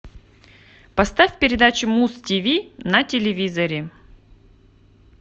поставь передачу муз тв на телевизоре